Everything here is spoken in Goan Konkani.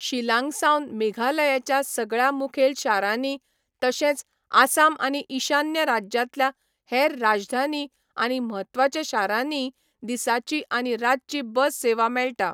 शिलांगसावन मेघालयाच्या सगळ्या मुखेल शारांनी तशेंच आसाम आनी ईशान्य राज्यांतल्या हेर राजधानी आनी म्हत्वाच्या शारांनीय दिसाची आनी रातची बस सेवा मेळटा.